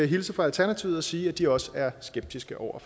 hilse fra alternativet og sige at de også er skeptiske over